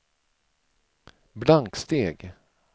blanksteg